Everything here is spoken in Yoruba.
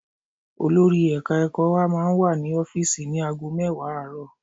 Olori ẹ̀ka ẹ̀kọ́ wa máa wà ní ọ́fíìsì ní ago mẹ́wàá àárọ̀